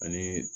Ani